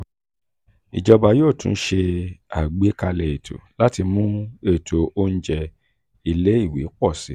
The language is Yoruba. ijọba yoo tun ṣe agbekalẹ eto lati mu eto ounjẹ ile-iwe pọ si.